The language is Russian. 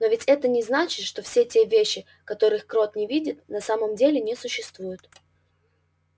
но ведь это не значит что все те вещи которых крот не видит на самом деле не существуют